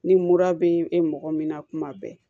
Ni mura bɛ mɔgɔ min na kuma bɛɛ